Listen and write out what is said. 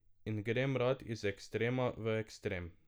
In grem rad iz ekstrema v ekstrem.